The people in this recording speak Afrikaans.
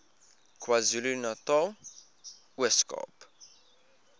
kwazulunatal ooskaap